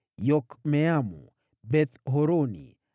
Yokmeamu, Beth-Horoni,